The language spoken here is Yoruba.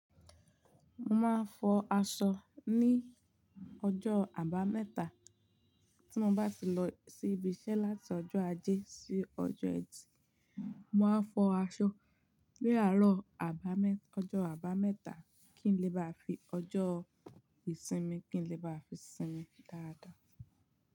Mo máa ń fọ aṣọ ní ọjọ́ àbámẹ́ta tí mo bá ti lọ sí ibi iṣẹ́ láti ọjọ́ ajé sí ọjọ́ ẹtì. Mo máa ń fọ aṣọ ní àárọ̀ àbámẹ́ta, ọjọ́ àbámẹ́ta kí n lè bá fi ọjọ́ ìsinmi, kí n lè na fi sinmi dáada.